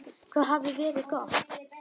Það hafði verið gott.